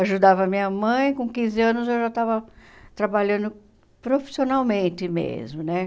Ajudava a minha mãe, com quinze anos eu já estava trabalhando profissionalmente mesmo, né?